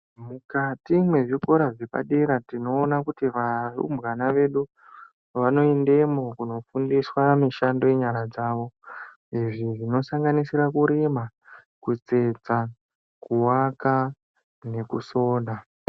Mukati mwezvikora zvepadera tinoone kuti varumbwana vedu vanoendemo kundofundiswa mishando yenyara dzavo . Izvi zvinosanganisira kurima ,kutsetsa kuwaka nekusona .